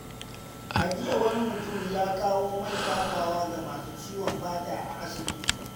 A jiya, wani mutum ya kawo man shafawa ga masu ciwon fata a asibiti.